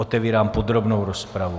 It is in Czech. Otevírám podrobnou rozpravu.